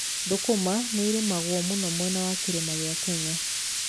Thũkũma nĩ irĩmagwo mũno mwena wa kĩrĩma kia Kenya.